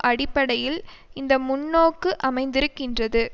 அடிப்படையில் இந்த முன்னோக்கு அமைந்திருக்கிறது